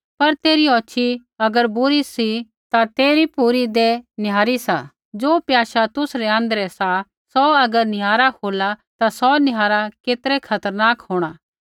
पर तेरी औछ़ी अगर बुरी सी ता तेरी पूरी देह निहारी सा ज़ो प्याशा तुसरै आँध्रै सा सौ अगर निहारा होला ता सौ निहारा केतरै खतरनाक किढ़ होंणा